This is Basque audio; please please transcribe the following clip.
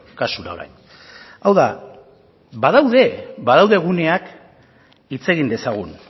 kasura orain hau da badaude badaude guneak hitz egin dezagun